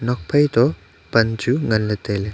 nuakphai toh pan chu ngan ley tai ley.